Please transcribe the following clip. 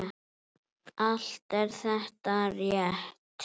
Allt er þetta rétt.